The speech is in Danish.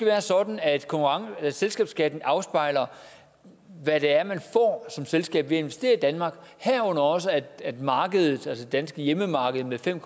være sådan at selskabsskatten afspejler hvad det er man får som selskab ved at investere i danmark herunder også at markedet altså det danske hjemmemarked med fem